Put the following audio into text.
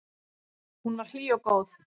Hún var hlý og góð.